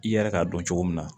I yɛrɛ k'a dɔn cogo min na